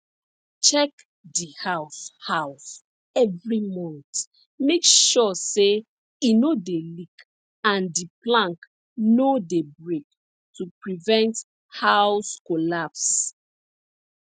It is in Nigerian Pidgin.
check di house house every month make sure say e no dey leak and di plank no dey break to prevent house collapse